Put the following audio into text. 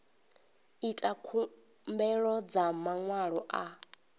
ita khumbelo dza maṅwalo a